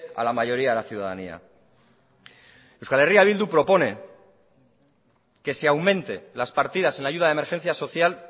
a la mayoría de la ciudadanía euskal herria bildu propone que se aumente las partidas en ayuda de emergencia social